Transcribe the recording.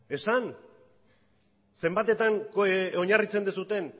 esan zenbatetan oinarritzen duzuen